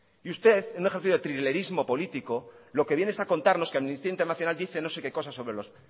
y usted en un ejercicio de trilerismo político lo que vienes a contarnos que amnistía internacional dice no sé que cosa sobre los